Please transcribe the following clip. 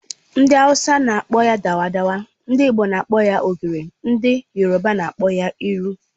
Ndi awusa n'akpọ ya dawa dawa, ndị Igbo n'akpọ ya ogiri, ndị yoroba n'akpọ ya iru